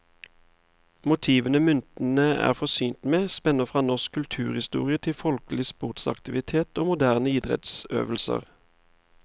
Motivene myntene er forsynt med, spenner fra norsk kulturhistorie til folkelig sportsaktivitet og moderne idrettsøvelse.